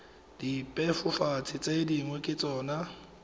dibebofatsi tse dingwe ke tsona